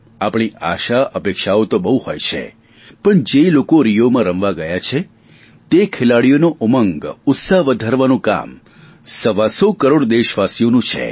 આપણી આશાઅપેક્ષાઓ તો બહુ હોય છે પણ જે લોકો રિયોમાં રમવા ગયા છે તે ખેલાડીઓનો ઉમંગ ઉત્સાહ વધારવાનું કામ સવા સો કરોડ દેશવાસીઓનું છે